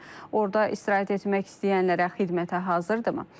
Orda istirahət etmək istəyənlərə xidmətə hazırdırmı?